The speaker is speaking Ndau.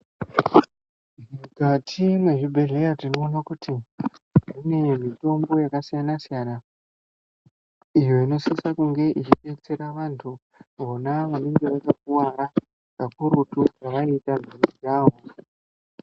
Mukati mezvibhedhlera tinoona kuti mune mitombo yakasiyana-siyana iyo inosisa kunge ichidetsera antu vona vanenge vakakuwara kakurutu pavanodana nejaha.